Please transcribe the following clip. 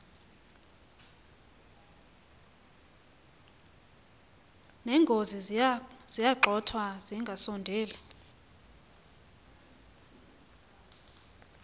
neenkozi ziyagxothwa zingasondeli